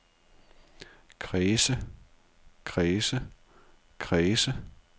kredse kredse kredse